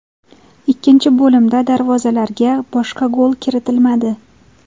Ikkinchi bo‘limda darvozalarga boshqa gol kiritilmadi.